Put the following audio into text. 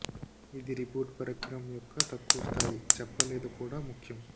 ఇది రీబూట్ పరికరం యొక్క తక్కువ స్థాయి చెప్పలేదు కూడా ముఖ్యం